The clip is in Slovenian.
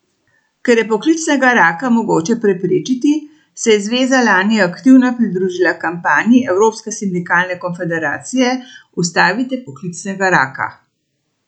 Ker je poklicnega raka mogoče preprečiti, se je zveza lani aktivno pridružila kampanji Evropske sindikalne konfederacije Ustavite poklicnega raka!